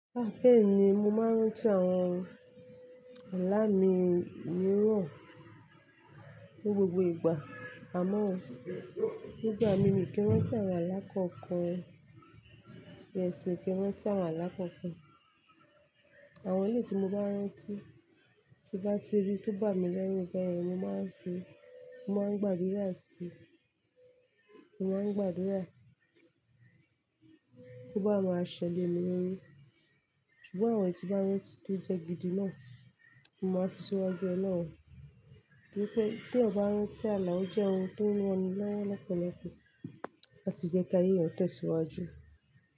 Á bẹ́ẹ̀ ni mo máa ń rántí àwọn alá mi mìíràn ní gbogbo ìgbà, àmọ́ nígbà mí mi ki rántí àwọn alákọ̀ọ́kan. Yes, mi ki rántí àwọn alá kọ̀ọ́kan. Àwọn èyí tí mo bá rántí tí bá ti rí tó bá mi lẹ́rù bẹ́ẹ̀ mo máa ń fi, mo máa ń gbàdúrà sí, mo máa ń gbàdúrà kí ó bá maa ṣẹ le mi lórí. Ṣùgbọ́n àwọn èyí tí bá rántí tó jẹ́ gidi náà, mo máa fi síwájú olohun Ní pé bí ó bá rántí àlá ó jẹ́ ohun tó ń ran ni lọ́wọ́ lọ́pọ̀lọpọ̀ láti jẹ́ kí ayé rẹ̀ tẹ̀síwájú.